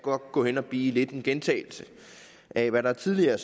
gå hen og blive lidt af en gentagelse af hvad der tidligere